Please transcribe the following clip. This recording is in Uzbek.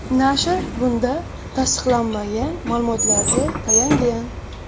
Nashr bunda tasdiqlanmagan ma’lumotlarga tayangan.